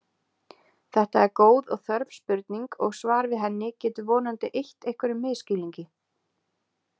Þetta er góð og þörf spurning og svar við henni getur vonandi eytt einhverjum misskilningi.